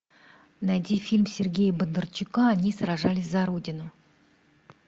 найди фильм сергея бондарчука они сражались за родину